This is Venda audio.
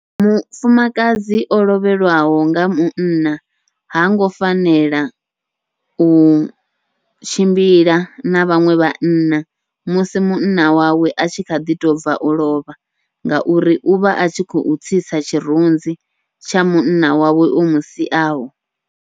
Mufumakadzi o lovhelwaho nga munna hango fanela u tshimbila na vhaṅwe vhanna musi munna wawe a tshi kha ḓi tou bva u lovha, ngauri uvha a tshi khou tsitsa tshirunzi tsha munna wawe o musiaho.